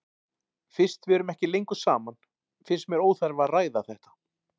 Fyrst við erum ekki lengur saman finnst mér óþarfi að ræða þetta.